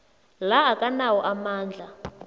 la akanawo amandla